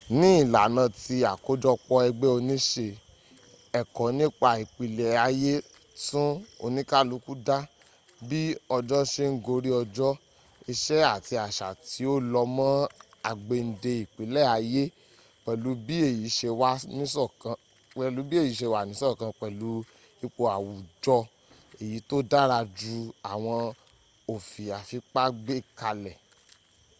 ní ìlànà tí àkójọpọ̀ ẹgbẹ́ oníse ẹ̀kọ́ nípa ìpìlẹ̀ ayé tún oníkálukú dá bí ọjọ́ se ń gorí ọjọ́ ìṣe àti àṣà tí ó lọ́ mọ́ àgbéǹde ìpìlẹ̀ ayé pẹ̀lú bí èyí se wà nísọ̀kan pẹ̀lú ipò àwùjọ èyí tó dára ju àwọn òfi àfipá gbé kalẹ̀